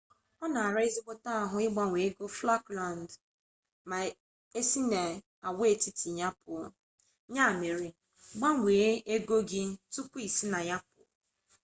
ọ na-ara ezigbote ahụ ịgbanwe ego falklands ma e si n'agwaetiti a pụọ ya mere gbanwee ego gi tupu i si na ya pụọ